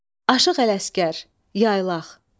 Aşıq Ələsgər, Yaylaq.